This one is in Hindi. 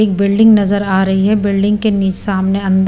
एक बिल्डिंग नज़र आ रही है बिल्डिंग के नी सामने अंदर --